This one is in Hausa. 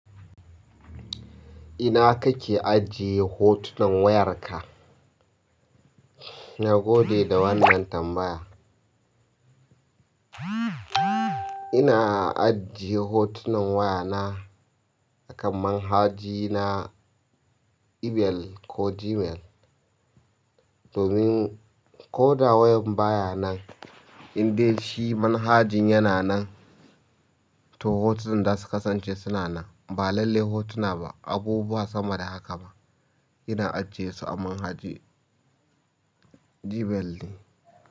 Ina kake ajiye hotunan wayarka? Na gode da wannan tambaya. Ina ajiye hotunan wayana a kan manhaja na Ebell ko Gmail, domin ko da wayar baya nan, in dai shi manhajan yana nan, to hotunan zasu kasance suna nan. Ba lalle hotuna ba, abubuwa sama da haka ba. Ina ajiye su a manhajai Gmail ne.